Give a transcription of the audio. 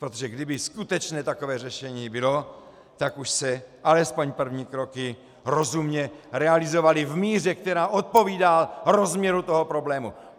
Protože kdyby skutečně takové řešení bylo, tak už se alespoň první kroky rozumně realizovaly v míře, která odpovídá rozměru toho problému.